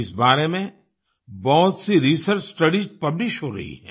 इस बारे में बहुत सी रिसर्च स्टडीज पब्लिश हो रही हैं